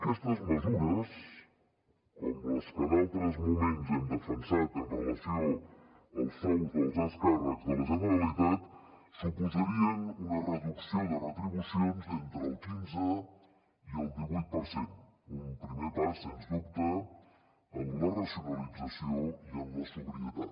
aquestes mesures com les que en altres moments hem defensat amb relació als sous dels alts càrrecs de la generalitat suposarien una reducció de retribucions d’entre el quinze i el divuit per cent un primer pas sens dubte en la racionalització i en la sobrietat